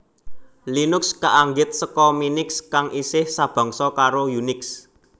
Linux kaanggit seka Minix kang isih sabangsa karo Unix